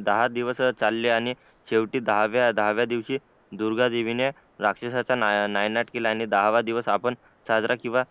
दहा दिवसच चालले आणि शेवटी दहाव्या दिवशी दुर्गा देवी ने राक्षसाचा नाय नायनाट केला आणि दहाव दिवस आपण साजरा किंवा